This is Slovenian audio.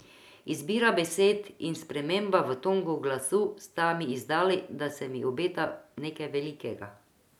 Izbira besed in sprememba v tonu glasu sta mi izdali, da se mi obeta nekaj velikega.